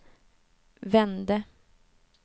vände